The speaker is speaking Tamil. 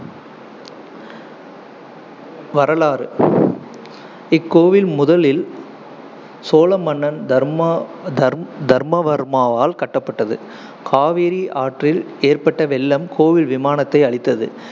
வரலாறு இக்கோயில் முதலில் சோழ மன்னன் தர்மா~ தர்மவர்மாவால் கட்டப்பட்டது. காவேரி ஆற்றில் ஏற்பட்ட வெள்ளம் கோவில் விமானத்தை அழித்தது,